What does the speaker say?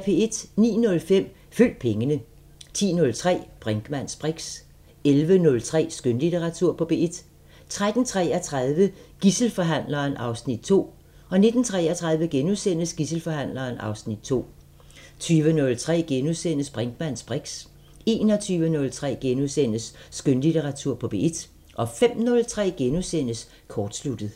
09:05: Følg pengene 10:03: Brinkmanns briks 11:03: Skønlitteratur på P1 13:33: Gidselforhandleren (Afs. 2) 19:33: Gidselforhandleren (Afs. 2)* 20:03: Brinkmanns briks * 21:03: Skønlitteratur på P1 * 05:03: Kortsluttet *